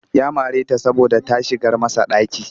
Ya mare ta saboda ta shigar masa ɗaki